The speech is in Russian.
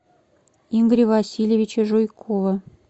игоря васильевича жуйкова